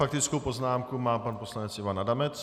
Faktickou poznámku má pan poslanec Ivan Adamec.